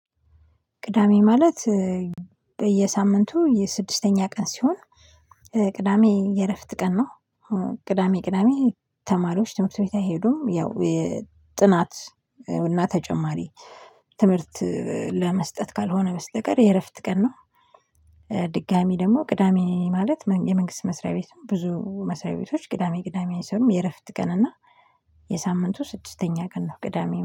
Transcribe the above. ቅዳሜ ማለት በየሳምንቱ የስድስተኛ ቀን ሲሆን ቅዳሜ የእረፍት ቀን ነው ቅዳሜ ቅዳሜ ተማሪዎች ትምህርት ቤት አይሄዱም። ያው ጥናት እና ተጨማሪ ትምህርት ለመስጠት ካልሆነ በስተቀር የእረፍት ቀን ነው። ድጋሚ ደግሞ ቅዳሜ ማለት የመንግስት መስሪያ ቤትም ብዙ መስሪያ ቤቶች ቅዳሜ ቅዳሜ አይሰሩም የእረፍት ቀን እና የሳምንቱ ስድስተኛ ቀን ነው። ቅዳሜ